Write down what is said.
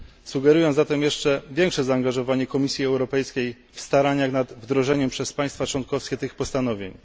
Sugeruję zatem jeszcze większe zaangażowanie Komisji Europejskiej w starania nad wdrożeniem przez państwa członkowskie tych postanowień.